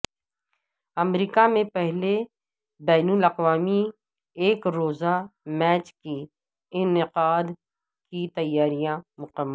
امریکہ میں پہلے بین الاقوامی ایک روزہ میچ کے انعقاد کی تیاریاں مکمل